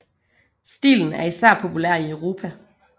Stilen er især populær i Europa